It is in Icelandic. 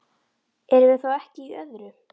Erum við þá ekki í öðru?